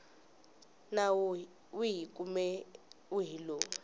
nawu wihi kumbe wihi lowu